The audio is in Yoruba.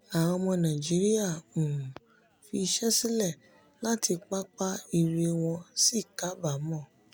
àwọn ọmọ nàíjíríà um fi iṣẹ́ sílẹ̀ láti pápá ire wọ́n sì kábàámọ̀.